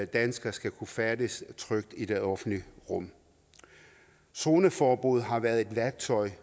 danskere skal kunne færdedes trygt i det offentlige rum zoneforbud har været et værktøj